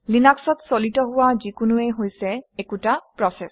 লিনাক্সত চালিত হোৱা যিকোনোৱেই হৈছে একোটা প্ৰচেচ